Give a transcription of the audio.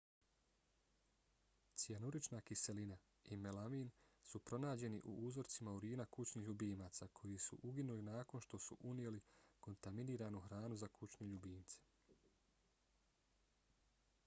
cijanurična kiselina i melamin su pronađeni u uzorcima urina kućnih ljubimaca koji su uginuli nakon što su unijeli kontaminiranu hranu za kućne ljubimce